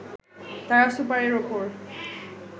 তারা সুপারের ওপর